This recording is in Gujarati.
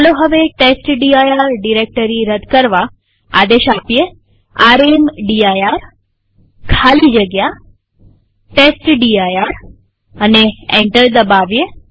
ચાલો હવે ટેસ્ટડિર ડિરેક્ટરી રદ કરવા આદેશ રામદીર ખાલી જગ્યા ટેસ્ટડિર લખીએ અને એન્ટર દબાવીએ